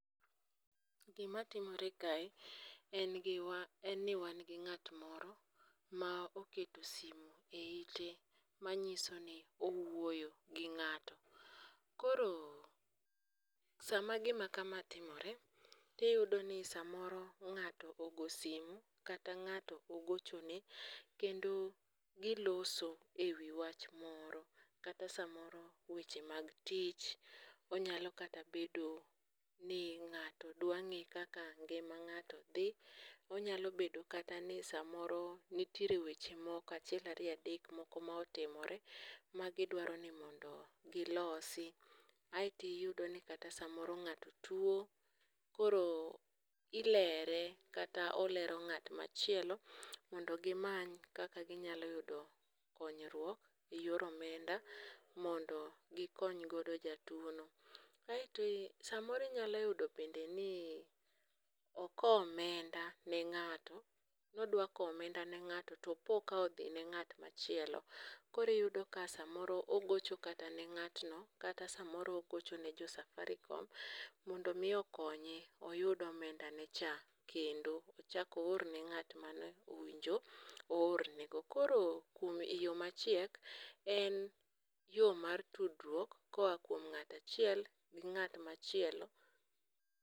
Gimatimore kae en gi wan, en ni wan gi ng'at moro ma oketo simu e ite manyiso ni owuoyo gi ng'ato. Koro sama gima kama timore, tiyudo ni samoro ng'ato ogo simu kata ng'ato ogochone, kendo giloso e wi wach moro. Kata samoro weche mag tich, onyalo kata bedo ni ng'ato dwa ng'e kaka ngima ng'ato dhi. Onyalo bedo kata ni samoro nitiere weche moko achiel ariyo adek ma otimore ma gidwaro ni mondo gilosi. Aeto iyudo ni kata samoro ng'ato tuwo koro ilere kata olero ng'at machielo mondo gimany kaka ginyalo yudo konyruok e yor omenda mondo gikony godo jatuwono. Aeto samoro inyalo yudo bende ni okowo omenda ni ng'ato, nodwa kowo omenda ne ng'ato to opo ka odhine ng'at machielo koro iyudo ka samoro ogocho kata ne ng'atno kata samoro ogocho ne jo safaricom, mondo omi okonye oyud omendane cha. Kendo ochak oor ne ng'at mowinjo oorne. Koro kuom e yo machiek en yo mar tudruok koa kuom ng'ato achiel ne ng'at machielo.